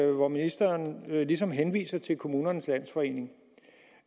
hvor ministeren ligesom henviser til kommunernes landsforening